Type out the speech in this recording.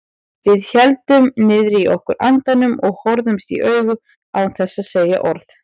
Við héldum niðri í okkur andanum og horfðumst í augu án þess að segja orð.